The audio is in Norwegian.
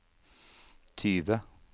tyve